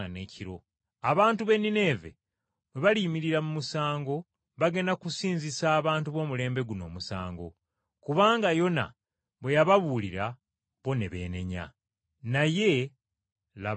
Abantu b’e Nineeve baliyimirira ne basaliza abantu b’omulembe guno omusango okubasinga, kubanga beenenya bwe baawulira okubuulira kwa Yona. Naye laba asinga Yona ali wano.